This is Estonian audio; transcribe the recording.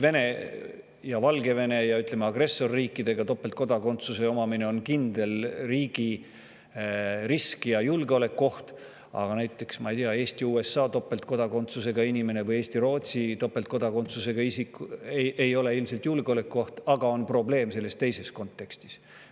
Vene ja Valgevene, ütleme, agressorriikide topeltkodakondsuse omamine on kindel risk ja julgeolekuoht riigile, samas näiteks Eesti-USA või Eesti-Rootsi topeltkodakondsusega isik seda ilmselt ei ole, aga siiski on probleem selles teises kontekstis.